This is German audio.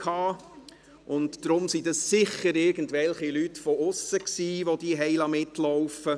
Deshalb waren es mit Sicherheit irgendwelche Leute von ausserhalb.